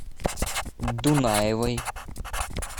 дунаевой